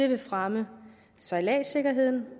vil fremme sejladssikkerheden